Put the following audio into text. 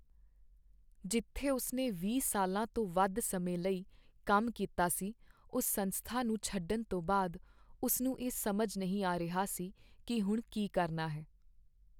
ਜਿੱਥੇ ਉਸਨੇ ਵੀਹ ਸਾਲਾਂ ਤੋਂ ਵੱਧ ਸਮੇਂ ਲਈ ਕੰਮ ਕੀਤਾ ਸੀ ਉਸ ਸੰਸਥਾ ਨੂੰ ਛੱਡਣ ਤੋਂ ਬਾਅਦ, ਉਸ ਨੂੰ ਇਹ ਸਮਝ ਨਹੀਂ ਆ ਰਿਹਾ ਸੀ ਕਿ ਹੁਣ ਕੀ ਕਰਨਾ ਹੈ